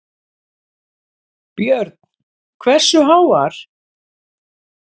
Björn: Hversu háar?